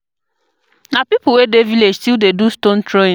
Na pipo wey dey village still dey do stone throwing.